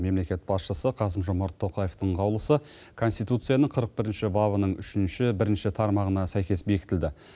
мемлекет басшысы қасым жомарт тоқаевтың қаулысы конституцияның қырық бірінші бабының үшінші бірінші тармағына сәйкес бекітілді